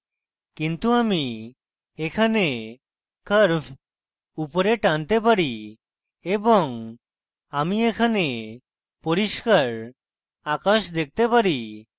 কিন্তু আমি এখানে curve উপরে টানতে পারি এবং আমি এখানে পরিস্কার আকাশ দেখতে পারি